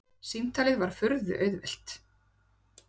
Símtalið var furðu auðvelt.